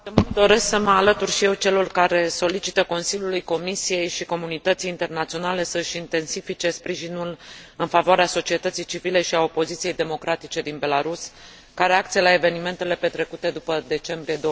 Doresc să mă alătur și eu celor care solicită Consiliului, Comisiei și comunității internaționale să și intensifice sprijinul în favoarea societății civile și a opoziției democratice din Belarus, ca reacție la evenimentele petrecute după decembrie